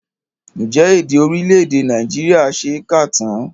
Ǹjẹ́ èdè orílẹ̀èdè Nàìjíríà ṣe é kà tán?